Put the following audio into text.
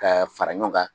Ka fara ɲɔgɔn kan